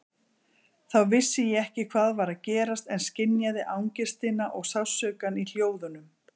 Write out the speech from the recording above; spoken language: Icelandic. Þá vissi ég ekki hvað var að gerast en skynjaði angistina og sársaukann í hljóðunum.